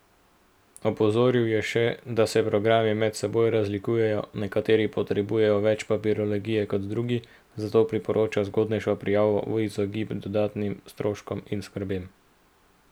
Opozoril je še, da se programi med seboj razlikujejo, nekateri potrebujejo več papirologije kot drugi, zato priporoča zgodnejšo prijavo v izogib dodatnim stroškom in skrbem.